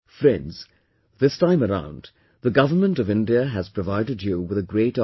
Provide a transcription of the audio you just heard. Friends, this time around, the government of India has provided you with a great opportunity